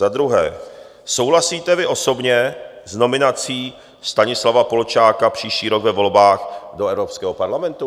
Za druhé, souhlasíte vy osobně s nominací Stanislava Polčáka příští rok ve volbách do Evropského parlamentu?